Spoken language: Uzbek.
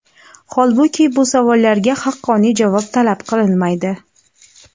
holbuki bu savollarga haqqoniy javob talab qilinmaydi.